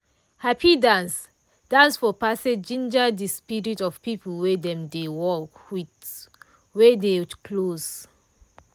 hapi dance dance for passage ginger de spirit of people wey dem dey work with wey dey close.